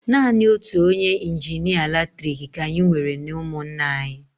Naanị otu onye injinịa latriki ka anyị nwere n'ụmụnna anyị.